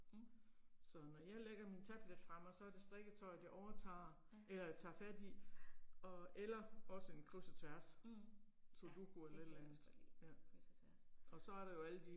Mh. Ja, ja. Mh, ja det kan jeg også godt lide, kryds og tværs